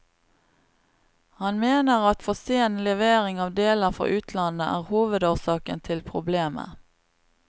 Han mener at for sen levering av deler fra utlandet er hovedårsaken til problemet.